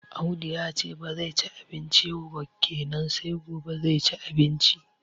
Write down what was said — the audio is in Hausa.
Audu yace ba zai ci abinci yau ba kenan sai gobe zai ci abinci